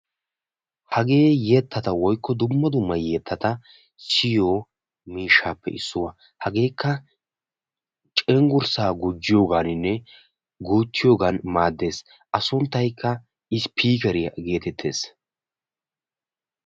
Hagee yettata woykko dumma dumma yettatata siyiyo miishshappe issuwaa hageekka cengurssaa gujjiyooganinne guuttiyogan maaddees. a sunttaykka ispiikeriyaa geetettees.